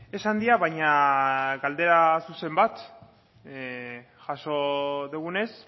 esan dira baina galdera zuzen bat jaso dugunez